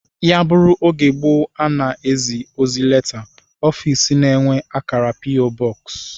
Ya bụrụ oge gboo a na-ezi ozi leta, ofiisi na-enwe akara p. o. Box